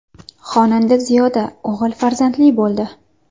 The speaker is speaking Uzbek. Xonanda Ziyoda o‘g‘il farzandli bo‘ldi.